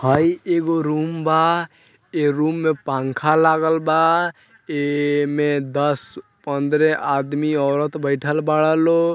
हैय एगो रूम बा ए रूम में पंखा लागल बा ऐमे दस पंद्रह आदम-औरत बैठल बाड़ा लो --